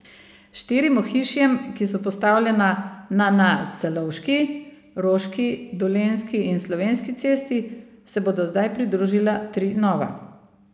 Štirim ohišjem, ki so postavljena na na Celovški, Roški, Dolenjski in Slovenski cesti, se bodo zdaj pridružila tri nova.